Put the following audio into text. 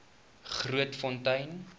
grootfontein